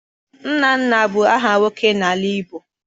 Nnanna bụ aha nwoke n'ala Igbo.